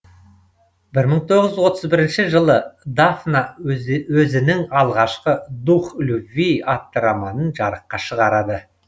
бір мың тоғыз жүз отыз бірінші жылы дафна өзінің алғашқы дух любви атты романын жарыққа шығарады